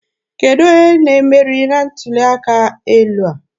Kedụ onye na-emeri na ntuli aka elu a?